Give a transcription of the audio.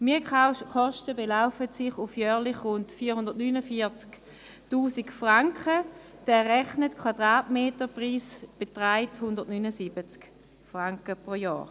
Die Mietkosten belaufen sich auf jährlich rund 449 000 Franken, der errechnete Quadratmeterpreis beträgt 179 Franken pro Jahr.